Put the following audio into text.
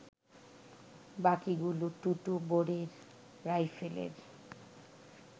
বাকিগুলো টুটু বোরের রাইফেলের